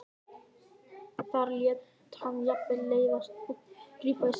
Þar lét hann jafnvel til leiðast að grípa í sellóið.